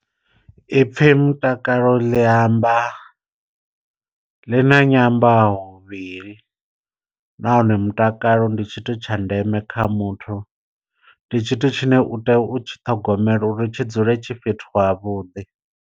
I pfhi mutakalo ḽi amba ḽi na nyambahuvhili, nahone mutakalo ndi tshithu tsha ndeme kha muthu. Ndi tshithu tshine u tea u tshi ṱhogomela uri tshi dzule tshi fhethu havhuḓi.